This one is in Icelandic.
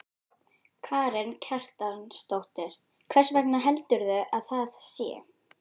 Karen Kjartansdóttir: Hvers vegna heldurðu að það sé?